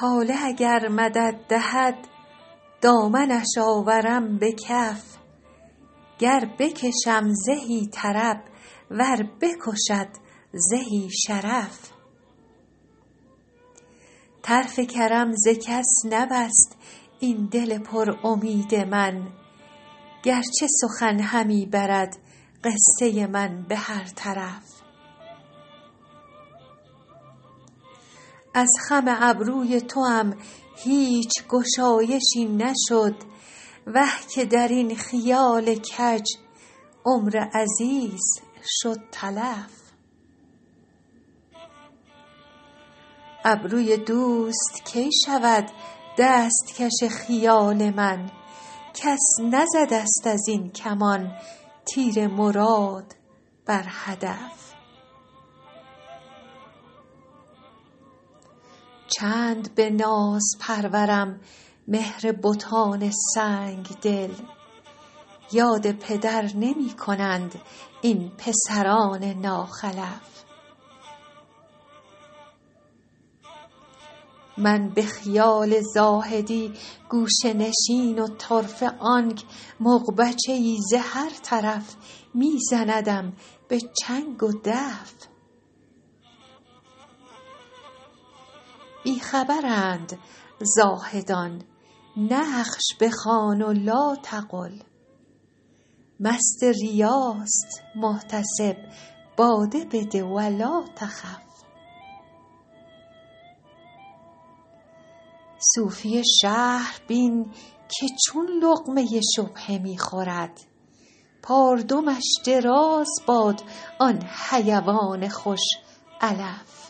طالع اگر مدد دهد دامنش آورم به کف گر بکشم زهی طرب ور بکشد زهی شرف طرف کرم ز کس نبست این دل پر امید من گر چه سخن همی برد قصه من به هر طرف از خم ابروی توام هیچ گشایشی نشد وه که در این خیال کج عمر عزیز شد تلف ابروی دوست کی شود دست کش خیال من کس نزده ست از این کمان تیر مراد بر هدف چند به ناز پرورم مهر بتان سنگ دل یاد پدر نمی کنند این پسران ناخلف من به خیال زاهدی گوشه نشین و طرفه آنک مغبچه ای ز هر طرف می زندم به چنگ و دف بی خبرند زاهدان نقش بخوان و لاتقل مست ریاست محتسب باده بده و لاتخف صوفی شهر بین که چون لقمه شبهه می خورد پاردمش دراز باد آن حیوان خوش علف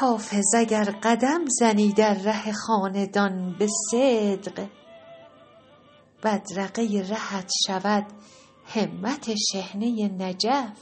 حافظ اگر قدم زنی در ره خاندان به صدق بدرقه رهت شود همت شحنه نجف